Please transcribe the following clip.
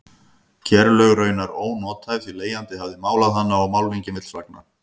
Kerlaug raunar ónothæf því leigjandi hafði málað hana og málningin vill flagna.